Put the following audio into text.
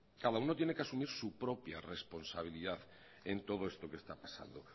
cada uno tiene que asumir su propia responsabilidad en todo esto que está pasando